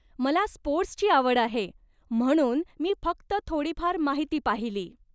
मला स्पोर्टस् ची आवड आहे म्हणून मी फक्त थोडीफार माहिती पाहिली.